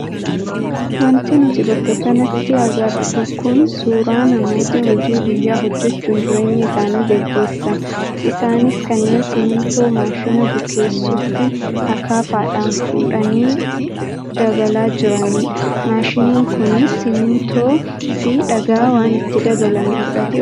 Wanti nuti bakka kanatti agarru kun suuraa namoota hojii guyyaa hojjachuun jireenya isaanii gaggeessan isaanis kanneen simmintoo maashina bukeessutti akaafaadhaan fuudhanii dabalaa jiranidha. Maashiniin kunis simmintoo fi dhagaa waan itti dabalame fudhatee ofiif naanna'a.